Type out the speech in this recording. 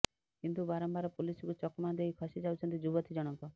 କିନ୍ତୁ ବାରମ୍ବାର ପୁଲିସକୁ ଚକମା ଦେଇ ଖସି ଯାଉଛନ୍ତି ଯୁବତୀ ଜଣକ